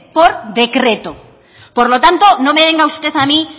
por decreto por lo tanto no me venga usted a mí